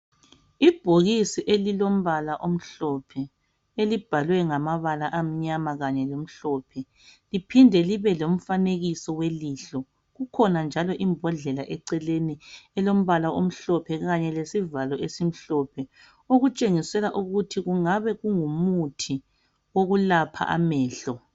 Ibhokisi elilombala omhlophe elibhalwe ngamabala amnyama kanye lamhlophe liphinde libe lomfanekiso welihlo kukhona njalo imbodlela eceleni elombala omhlophe kanye lesivalo esimhlophe okutshengisela ukuthi kungabe kungumuthi wokulapha amehlo.